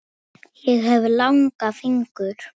Ég hef langa fingur.